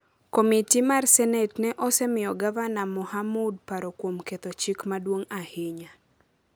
Komiti mar Senet ne osemiyo Gavana Mohamud paro kuom ketho chik maduong’ ahinya.